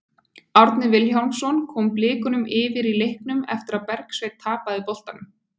Árni Vilhjálmsson kom Blikum yfir í leiknum eftir að Bergsveinn tapaði boltanum.